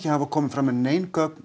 hafa komið fram með nein gögn